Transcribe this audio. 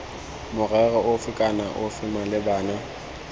morero ofe kana ofe malebana